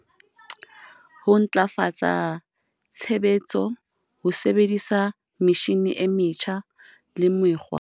Ho ntlafatsa tshebetso ho sebedisa metjhine e metjha le mekgwa.